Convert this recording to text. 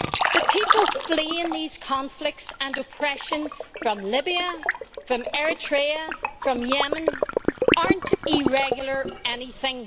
The people fleeing these conflicts and oppression from Libya, from Eritrea, from Yemen, are not ʽirregularʼ anything.